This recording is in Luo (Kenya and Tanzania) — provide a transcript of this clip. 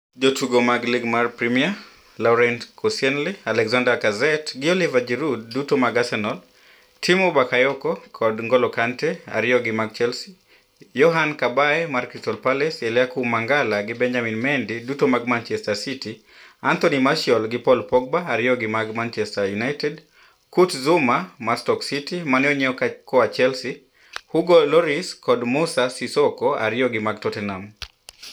Jotugo ma lig mar Premia: Laurent Koscielny, Alexandre Lacazette gi Olivier Giroud (duto mag Arsenal), Tiemoue Bakayoko kod N'Golo Kante (ariyo gi mag Chelsea), Yohan Cabaye (Crystal Palace), Eliaquim Mangala gi Benjamin Mendy (duto mag Manchester City), Anthony Martial gi Paul Pogba (ariyo gi mad Manchester United), Kurt Zouma (Stoke, mane onyiew koa Chelsea), Hugo Lloris kod Moussa Sissoko (ariyo gi mag Tottenham).